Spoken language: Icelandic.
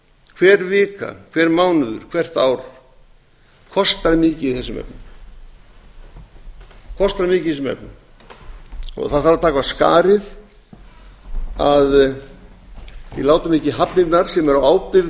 hver vika hver mánuður hvert ár kostar mikið í þessum efnum það þarf að taka af skarið að við látum ekki hafnirnar sem eru